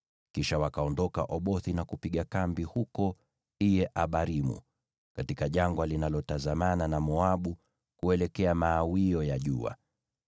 Kisha wakaondoka Obothi na kupiga kambi huko Iye-Abarimu, katika jangwa linalotazamana na Moabu kuelekea mawio ya jua.